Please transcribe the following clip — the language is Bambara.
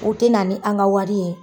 O te na ni an ka wari ye.